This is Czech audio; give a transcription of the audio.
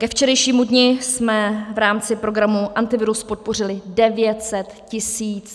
Ke včerejšímu dni jsme v rámci programu Antivirus podpořili 900 tisíc pracovních míst.